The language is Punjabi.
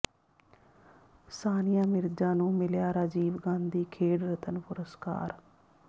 ਸਾਨੀਆ ਮਿਰਜ਼ਾ ਨੂੰ ਮਿਲਿਆ ਰਾਜੀਵ ਗਾਂਧੀ ਖੇਡ ਰਤਨ ਪੁਰਸਕਾਰ